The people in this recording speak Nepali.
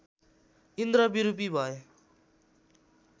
इन्द्र विरूपी भए